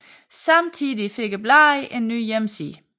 Samtidig fik bladet en ny hjemmeside